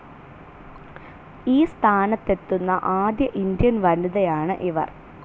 ഈ സ്ഥാനത്ത് എത്തുന്ന ആദ്യ ഇന്ത്യൻ വനിതയാണ് ഇവർ.